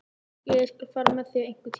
Já, ég skal fara með þig einhvern tíma.